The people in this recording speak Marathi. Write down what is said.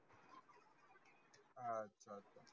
आच्छा आच्छा